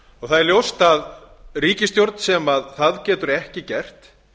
það er ljóst að ríkisstjórn sem það getur ekki gert